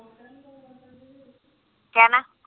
ਕਹਿ ਨਾ